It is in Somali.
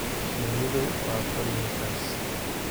Shinnidu waa pollinators.